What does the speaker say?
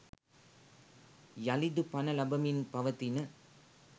යළිදු පණ ලබමින් පවතින